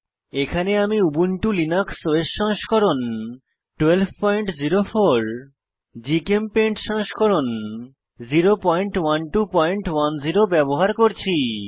এখানে আমি Ubuntu Linux OS সংস্করণ 1204 জিচেমপেইন্ট সংস্করণ 01210 ব্যবহার করছি